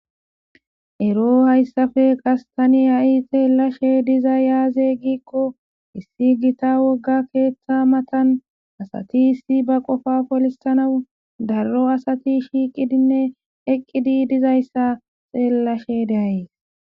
Ero hayssafe qas tani a'i xeellashe diza yaaze giikko issi gita wogga keeththa matan asati issi ba qofa polisanawu darro asati shiiqidinne eqqidi dizayssa xeellashe deayys